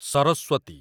Saraswati